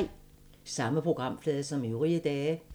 Samme programflade som øvrige dage